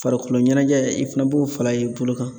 Farikolo ɲɛnajɛ i fana b'o fala i bolo kan.